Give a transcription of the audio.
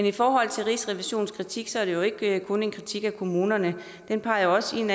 i forhold til rigsrevisionens kritik er det jo ikke kun en kritik af kommunerne den peger også ind